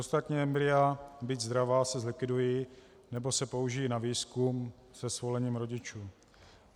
Ostatní embrya, byť zdravá, se zlikvidují nebo se použijí na výzkum se svolením rodičů.